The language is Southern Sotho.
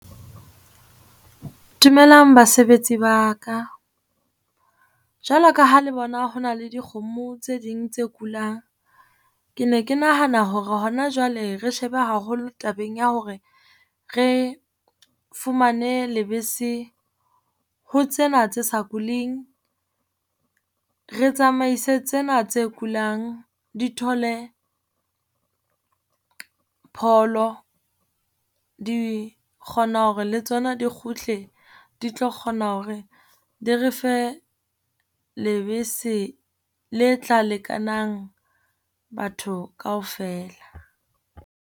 Dumelang basebetsi ba ka jwalo ka ha le bona ho na le dikgomo tse ding tse kulang. Ke ne ke nahana hore hona jwale re shebe haholo tabeng ya hore re fumane lebese ho tsena tsa sa kuling, re tsamaise tsena tse kulang di thole pholo, di kgone hore le tsona di kgutle, di tlo kgona hore di re fe lebese le tla lekanang batho kaofela.